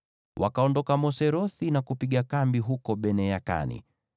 Wakaondoka Moserothi na kupiga kambi huko Bene-Yakani.